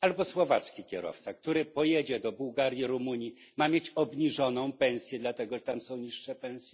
albo słowacki kierowca, który pojedzie do Bułgarii czy Rumunii, ma mieć obniżoną pensję dlatego, że tam są niższe pensje?